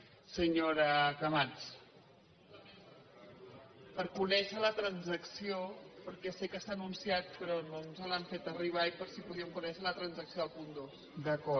per conèixer la transacció perquè sé que s’ha anunciat però no ens l’han feta arribar i per si podíem conèixer la transacció del punt dos